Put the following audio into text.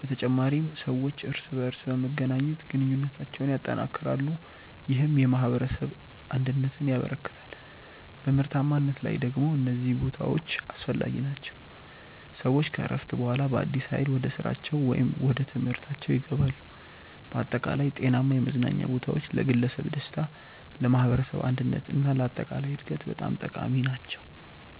በተጨማሪም ሰዎች እርስ በርስ በመገናኘት ግንኙነታቸውን ያጠናክራሉ፣ ይህም የማኅበረሰብ አንድነትን ያበረክታል። በምርታማነት ላይ ደግሞ እነዚህ ቦታዎች አስፈላጊ ናቸው፤ ሰዎች ከእረፍት በኋላ በአዲስ ኃይል ወደ ስራቸው ወይም ወደ ትምህርታችው ይገባሉ። በአጠቃላይ ጤናማ የመዝናኛ ቦታዎች ለግለሰብ ደስታ፣ ለማኅበረሰብ አንድነት እና ለአጠቃላይ እድገት በጣም ጠቃሚ ናቸው።